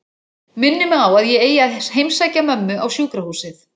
Minnir mig á að ég eigi að heimsækja mömmu á sjúkrahúsið.